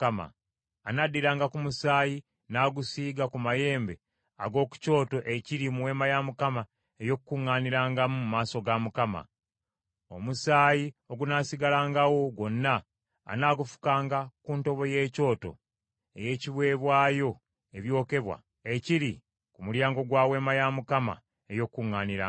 Anaddiranga ku musaayi n’agusiiga ku mayembe ag’oku kyoto ekiri mu Weema ey’Okukuŋŋaanirangamu mu maaso ga Mukama . Omusaayi ogunaasigalangawo gwonna anaagufukanga ku ntobo y’ekyoto eky’ebiweebwayo ebyokebwa ekiri ku mulyango gwa Weema ey’Okukuŋŋaanirangamu.